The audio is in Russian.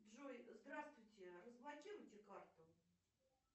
джой здравствуйте разблокируйте карту